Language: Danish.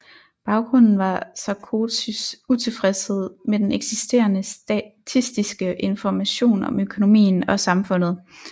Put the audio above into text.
Baggrunden var Sarkozys utilfredshed med den eksisterende statistiske information om økonomien og samfundet